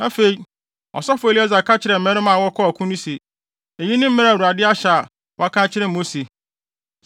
Afei, ɔsɔfo Eleasar ka kyerɛɛ mmarima a wɔkɔɔ ɔko no se, “Eyi ne mmara a Awurade ahyɛ a waka akyerɛ Mose: